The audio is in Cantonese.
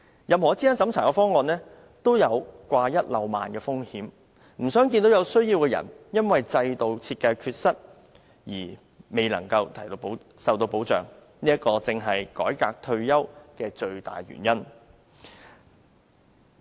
任何資產審查的方案都有掛一漏萬的風險，不想看到有需要的人因為制度設計的缺失而未能受到保障，這正是改革退休保障的最大原因。